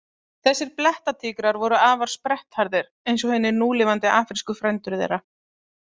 Þessir blettatígrar voru afar sprettharðir, eins og hinir núlifandi afrísku frændur þeirra.